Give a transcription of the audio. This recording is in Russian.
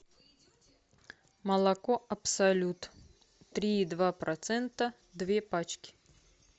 молоко абсолют три и два процента две пачки